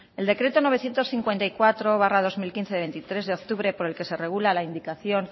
el decreto novecientos cincuenta y cuatro barra dos mil quince de veintitrés de octubre por el que se regula la indicación